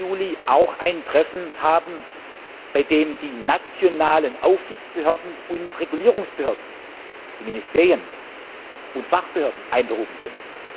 14. Juli auch ein Treffen haben, bei dem die nationalen Aufsichtsbehörden und Regulierungsbehörden, die Ministerien und Fachbehörden, einberufen sind.